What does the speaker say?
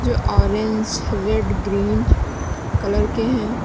जो orange red green colour के हैं।